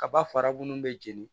Kaba fara minnu bɛ jeni